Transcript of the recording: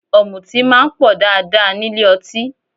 Ọ̀mùtí máa ń pọ̀ dáadáa nílé ọtí